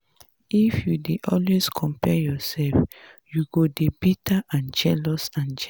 if you dey always compare yourself you go dey bitter and jealous. and jealous.